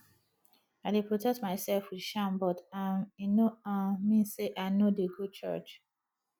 i dey protect myself with charm but um e no um mean say i no dey go church